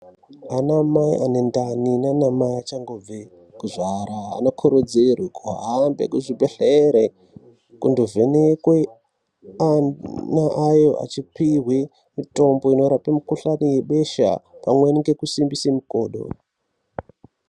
Anamai ane ndani nanamai achangobva kuzvara, anokurudzirwa aende kuzvibhehlera kundovhenekwe achipihwa mitombo inorape mikuhlani yebesha pamwechete nekusimbisa makodo